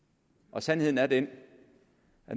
og sandheden er den